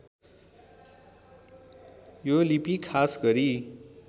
यो लिपि खास गरी